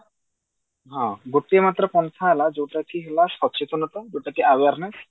ହଁ ଗୋଟିଏ ମାତ୍ର ପନ୍ଥା ହେଲା ଯୋଉଟା କି ହେଲା ସଚେତନତା ଯୋଉଟା କି awareness